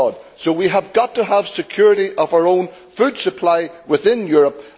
So we have got to have security of our own food supply within Europe.